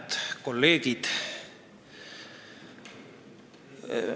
Head kolleegid!